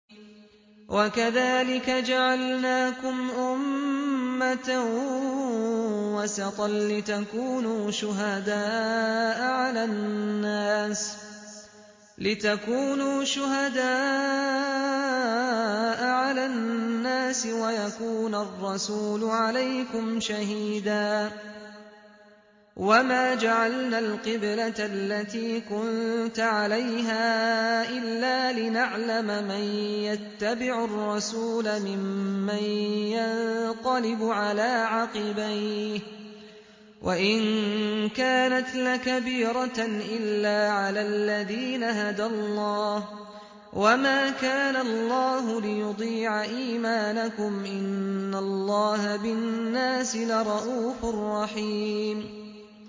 وَكَذَٰلِكَ جَعَلْنَاكُمْ أُمَّةً وَسَطًا لِّتَكُونُوا شُهَدَاءَ عَلَى النَّاسِ وَيَكُونَ الرَّسُولُ عَلَيْكُمْ شَهِيدًا ۗ وَمَا جَعَلْنَا الْقِبْلَةَ الَّتِي كُنتَ عَلَيْهَا إِلَّا لِنَعْلَمَ مَن يَتَّبِعُ الرَّسُولَ مِمَّن يَنقَلِبُ عَلَىٰ عَقِبَيْهِ ۚ وَإِن كَانَتْ لَكَبِيرَةً إِلَّا عَلَى الَّذِينَ هَدَى اللَّهُ ۗ وَمَا كَانَ اللَّهُ لِيُضِيعَ إِيمَانَكُمْ ۚ إِنَّ اللَّهَ بِالنَّاسِ لَرَءُوفٌ رَّحِيمٌ